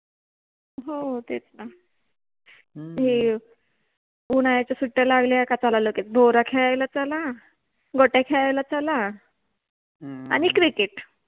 हो तेच न, हे, उन्हाळ्याच्या सुट्ट्या लागल्या क चला लगेच भोवरा खेळायला चला, गोट्या खेळायला चला, आणि क्रिकेट